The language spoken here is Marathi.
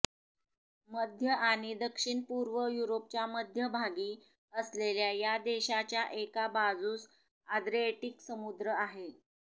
मध्य आणि दक्षिण पूर्व युरोपच्या मध्यभागी असलेल्या या देशाच्या एका बाजूस आद्रिएटीक समुद्र आहे